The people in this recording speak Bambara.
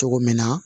Cogo min na